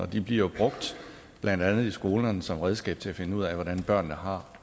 de bliver brugt blandt andet i skolerne som redskab til at finde ud af hvordan børnene har